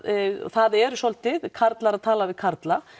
það eru svolítið karlar að tala við karla